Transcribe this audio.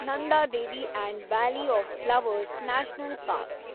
Nanda Devi and valley of flowers national parks